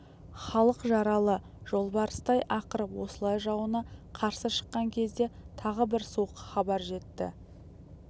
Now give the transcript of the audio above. халық жаралы жолбарыстай ақырып осылай жауына қарсы шыққан кезде тағы бір суық хабар жетті